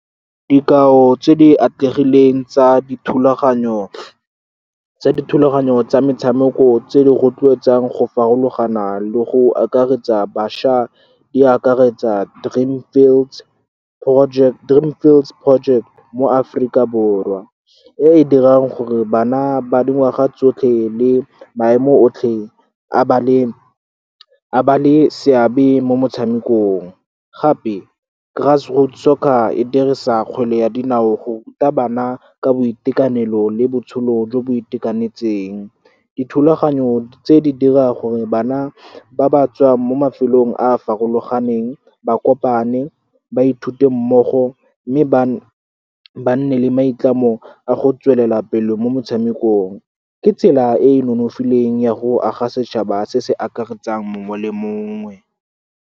Dikao tse di atlegileng tsa dithulaganyo tsa metshameko tse di rotloetsang go farologana le go akaretsa bašwa di akaretsa Dream Fields Project mo Aforika Borwa, e e dirang gore bana ba dingwaga tsotlhe le maemo otlhe a ba le seabe mo motshamekong. Gape, Grass Root Soccer e dirisa kgwele ya dinao go ruta bana ka boitekanelo le botshelo jo bo itekanetseng. Dithulaganyo tse, di dira gore bana ba ba tswang mo mafelong a a farologaneng ba kopane, ba ithute mmogo, mme ba nne le maitlamo a go tswelela pele mo motshamekong. Ke tsela e e nonofileng ya go aga setšhaba se se akaretsang mongwe le mongwe.